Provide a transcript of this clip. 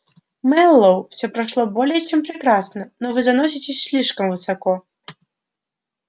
мэллоу всё прошло более чем прекрасно но вы заноситесь слишком высоко